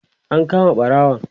an kama ɓarawon?